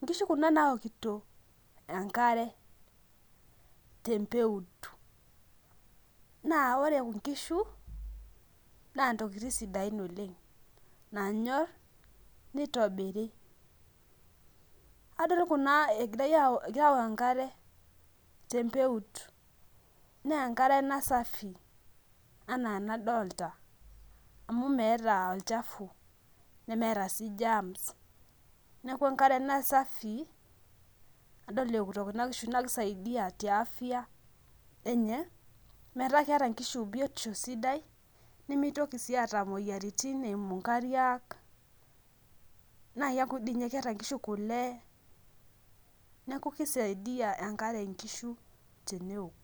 nkishu kunabnaokito enkare tebmpeut na ore nkishu na ntokitin sidain oleng nanyor nitobiri adol kuja egira aaok enkare tempeut na enkare shida na safi ana anadolta amu meeta olchafu nemeeta germs neaku enkare ena safi adolta eokito nkishu na keeta afya sidai na kisaidia biotisho enye nimitoki si atum imoyiaritin eimu nkariak na keaku keeta nkishu kule neaku kisaidia enkare nkishu teneok.